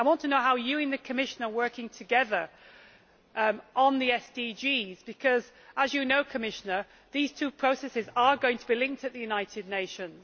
I want to know how you in the Commission are working together on the SDGs because as you know, Commissioner these two processes are going to be linked at the United Nations.